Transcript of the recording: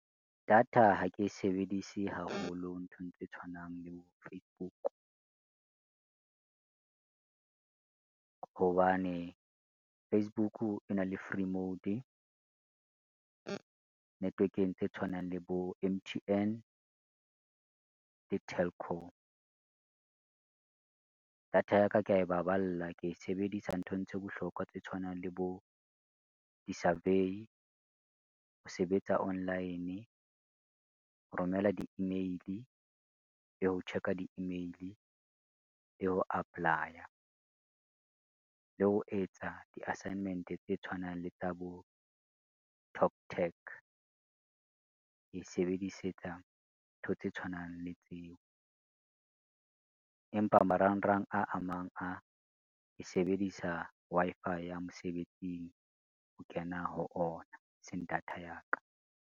Data ha ke e sebedise haholo nthong tse tshwanang le bo Facebook. Hobane Facebook e na le free mode network-eng tse tshwanang le bo M_T_N le Telkom. Data ya ka kea e baballa, ke e sebedisa nthong tse bohlokwa tse tshwanang le bo di-survey, ho sebetsa online, ho romela di-email le ho check-a di-email le ho apply-a. Le ho etsa di-assignment tse tshwanang le tsa bo talktag, ke e sebedisetsa ntho tse tshwanang le tseo, empa marangrang a amang a ke sebedisa Wi-Fi ya mosebetsing ho kena ho ona e seng data ya ka.